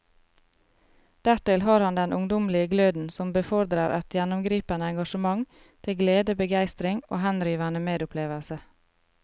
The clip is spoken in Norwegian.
Dertil har han den ungdommelige gløden som befordrer et gjennomgripende engasjement til glede, begeistring og henrivende medopplevelse.